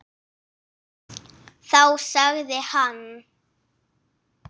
Þá sagði hann.